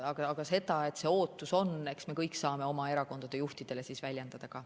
Ja seda, et see ootus on, me saame kõik oma erakondade juhtidele väljendada.